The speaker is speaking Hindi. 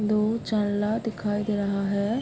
दो दिखाई दे रहा है।